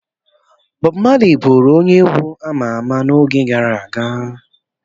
Bọbụ Mali bụụrụ onye egwu ama ama n'oge gara aga.